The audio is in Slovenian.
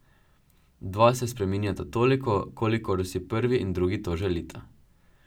Dva se spreminjata toliko, kolikor si prvi in drugi to želita.